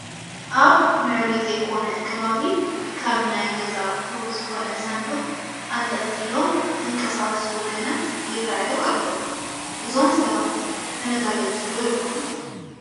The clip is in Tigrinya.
ኣብ ምዕሩይ ዘይኮነ ከባቢ ካብ ናይ ገዛ ኣቑሑ ዝኾነ ሳንዱቕ ኣንጠልጢሎም ዝንቀሳሱ ወገናት ይርአዩ ኣለዉ፡፡ እዞም ሰባት ተመዛበልቲ ዶ ይኾኑ?